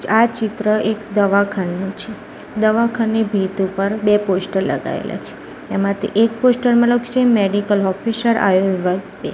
આ ચિત્ર એક દવાખાનું છે દવાખાને ભીત ઉપર બે પોસ્ટ લગાયેલા છે એમાંથી એક પોસ્ટર માં લખ્યુ છે મેડિકલ ઓફિસિયર આવ્યો વિભાગ પે.